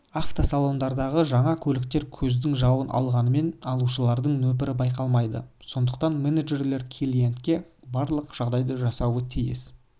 автосалондардағы жаңа көліктер көздің жауын алғанымен алушылардың нөпірі байқалмайды сондықтан менеджерлер клиентке барлық жағдайды жасауы тиіс